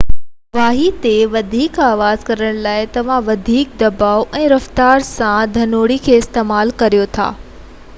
واڄي تي وڌيڪ آواز ڪرڻ لاءِ توهان وڌيڪ دٻاءُ ۽ رفتار سان ڌنوڻي کي استعمال ڪريو ٿا